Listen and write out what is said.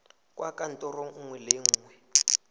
kwa kantorong nngwe le nngwe